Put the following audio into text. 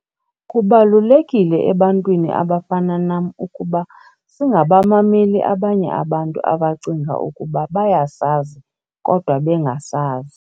"Kubalulekile ebantwini abafana nam ukuba singabamameli abanye abantu abacinga ukuba bayasazi kodwa bengasazi."